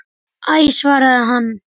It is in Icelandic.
Æ svaraði hann.